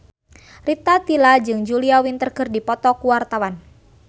Rita Tila jeung Julia Winter keur dipoto ku wartawan